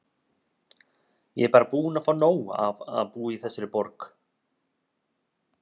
Ég er bara búin að fá nóg af að búa í þessari borg.